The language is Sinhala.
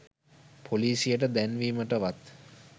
පොලීසියට දැන්වීමටවත්